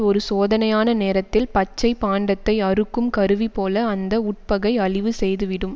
ஒரு சோதனையான நேரத்தில் பச்சை பாண்டத்தை அறுக்கும் கருவிபோல அந்த உட்பகை அழிவு செய்துவிடும்